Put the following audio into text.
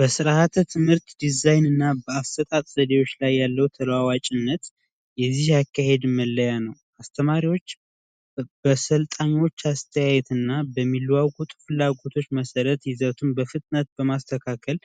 የስርዓተ ትምህርት ዲዛይንና አሰጣጥ ያለው ተለዋዋጭነት አስተማሪዎች በሰልጣኞች አስተያየት እና ፍላጎቶች መሠረት ይዘቱን በፍጥነት በማስተካከል